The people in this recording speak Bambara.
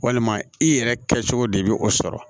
Walima i yɛrɛ kɛcogo de bɛ o sɔrɔ